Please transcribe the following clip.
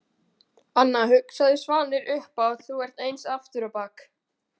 Anna, hugsaði Svanur upphátt, þú ert eins aftur á bak.